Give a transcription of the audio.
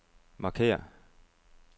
markér